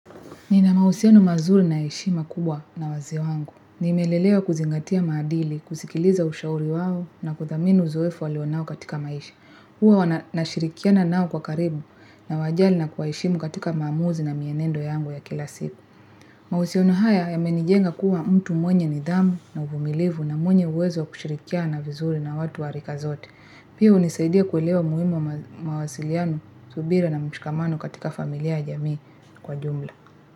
Nina mahusiano mazuri na heshima kubwa na wazee wangu. Nimelelewa kuzingatia maadili, kusikiliza ushauri wao, na kuthamini uzoefu walio nao katika maisha. Huwa wana nashirikiana nao kwa karibu nawajali na kwa heshimu katika maamuzi na mienendo yangu ya kila siku. Mausiano haya, yamenijenga kuwa mtu mwenye nidhamu na uvumilivu na mwenye uwezo wa kushirikiana vizuri na watu warika zote. Pia unisaidia kuelewa muhimu mawasiliano, subira na mshikamano katika familia ya jamii kwa jumla.